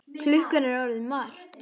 Klukkan er orðin margt.